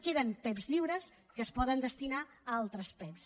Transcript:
queden pev lliures que es poden destinar a altres pev